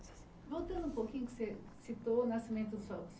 Voltando um pouquinho, você citou o nascimento da sua